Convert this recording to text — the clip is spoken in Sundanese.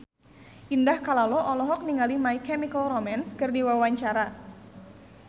Indah Kalalo olohok ningali My Chemical Romance keur diwawancara